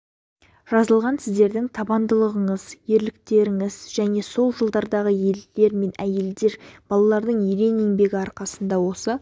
жазылған сіздердің табандылығыңыз ерліктеріңіздің және сол жылдардағы ерлер әйелдер мен балалардың ерен еңбегі арқасында осы